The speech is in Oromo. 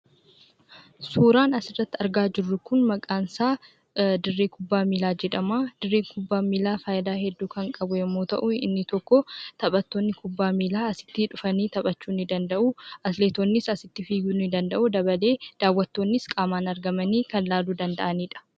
Suuraan asirratti argaa jirru kun maqaansaa dirree kubbaa miilaa jedhamaa. Dirreen kubbaa miilaa faayidaa hedduu kan qabu yemmuu ta'u inni tokkoo taphattoonni kubbaa miilaa asitti dhufanii taphachuu ni danda'uu. Atileetonnis asitti fiiguu ni danda'uu dabalee daawwattoonnis qaamaan argamanii kan laaluu danda'anidha.